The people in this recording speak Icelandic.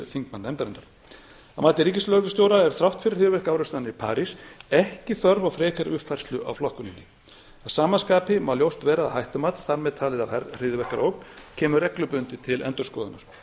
þingmannanefndarinnar að mati ríkislögreglustjóra er þrátt fyrir hryðjuverkaárásirnar í parís ekki þörf á frekari uppfærslu á flokkuninni að sama skapi má ljóst vera að hættumat þar með talið af hryðjuverkaógn kemur reglubundið til endurskoðunar